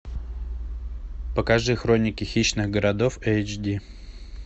покажи хроники хищных городов эйч ди